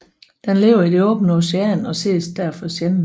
Den lever i det åbne ocean og ses derfor sjældent